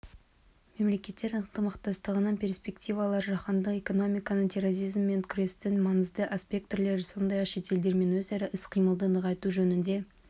мемлекеттер ынтымақтастығының перспективалары жаһандық экономиканың терроризммен күрестің маңызды аспектілері сондай-ақ шетелдермен өзара іс-қимылды нығайту жөнінде